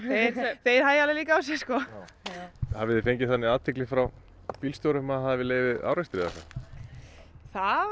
þeir hægja alveg líka á sér hafið þið fengið þannig athygli frá bílstjórum að það hafi legið við árekstri eða hvað það voru